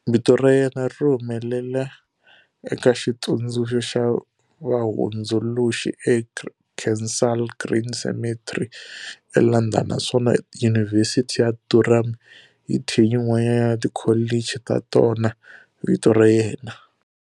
Vito ra yena ri humelela eka Xitsundzuxo xa Vahundzuluxi eKensal Green Cemetery, eLondon, naswona Yunivhesiti ya Durham yi thye yin'wana ya tikholichi ta tona vito ra yena.